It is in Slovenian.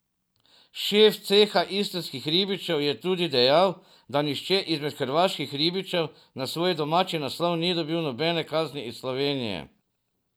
Šef ceha istrskih ribičev je tudi dejal, da nihče izmed hrvaških ribičev na svoj domači naslov ni dobil nobene kazni iz Slovenije.